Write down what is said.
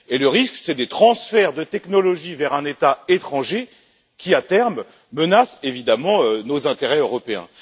Le risque, ce sont des transferts de technologies vers un État étranger qui, à terme, menace évidemment nos intérêts européens.